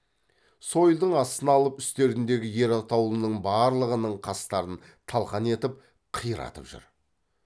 сойылдың астына алып үстеріндегі ер атаулының барлығының қастарын талқан етіп қиратып жүр